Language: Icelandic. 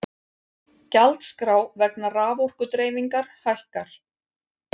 Gjaldskrá vegna raforkudreifingar hækkar